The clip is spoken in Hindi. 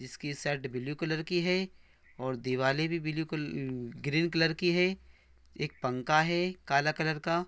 इसकी शर्ट ब्लू कलर की है और दीवाले भी ब्लू कल अ ग्रीन कलर की है एक पंखा है काला कलर का --